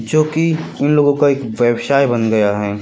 जो कि हम लोगों का एक व्यवसाय बन गया है।